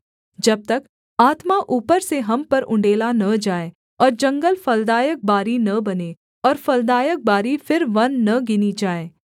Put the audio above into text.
जब तक आत्मा ऊपर से हम पर उण्डेला न जाए और जंगल फलदायक बारी न बने और फलदायक बारी फिर वन न गिनी जाए